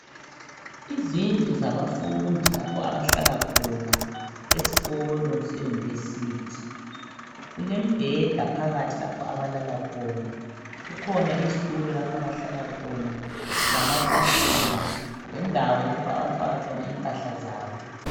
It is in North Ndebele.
Izindlu zabafundi lapho abahlala khona esikolo se University. Kulembheda phakathi lapho abalala khona. Kukhona izitulo lapho abahlala khona, lamatafula lendawo lapha abafaka khona impahla zabo.